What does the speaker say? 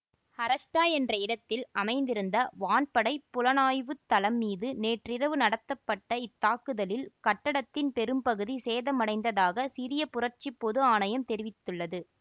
Harasta என்ற இடத்தில் அமைந்திருந்த வான்படைப் புலனாய்வு தளம் மீது நேற்றிரவு நடத்தப்பட்ட இத்தாக்குதலில் கட்டடத்தின் பெரும் பகுதி சேதமடைந்ததாக சிரிய புரட்சி பொது ஆணையம் தெரிவித்துள்ளது